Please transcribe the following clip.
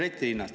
Aitäh!